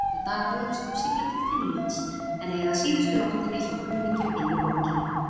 Næsta dag hugðist hún sigla til Finnlands en eyða síðustu nóttinni hjá kunningjum inní borginni.